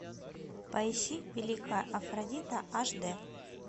поищи